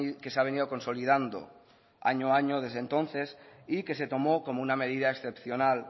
que se ha venido consolidando año a año desde entonces y que se tomó como una medida excepcional